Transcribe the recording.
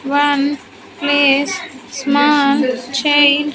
One place small change.